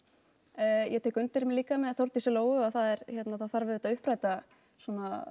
ég tek undir líka með Þórdísi Lóu að það er að það þarf að uppræta svona